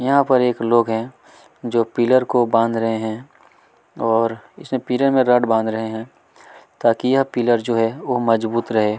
यहाँ पर एक लोग है जो पिल्लर को बांध रहे है और और इसमे पिरन मे रट बांध रहे है ताकी यह पिल्लर जो है मजबुत रहे।